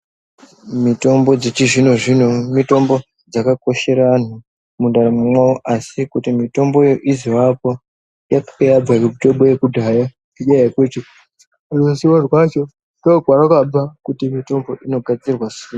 Mitombo dzechizvino zvino mutombo dzakakoshera anhu mundaramo yawo asi kuti mutombo iyi izovakwa itoyabva kumitobo yekudhaya ngenyaya yekuti ruzivo rwacho ngokwarakabva kuti mutorwe inogadzirwa sei.